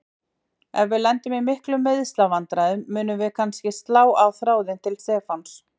Ef við lendum í miklum meiðslavandræðum munum við kannski slá á þráðinn til Stefáns.